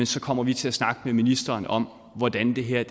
så kommer vi til at snakke med ministeren om hvordan det her